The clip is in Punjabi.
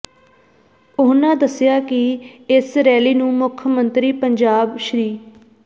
ਉਹਨਾਂ ਦੱਸਿਆ ਕਿ ਇਸ ਰੈਲੀ ਨੂੰ ਮੁੱਖ ਮੰਤਰੀ ਪੰਜਾਬ ਸ੍ਰ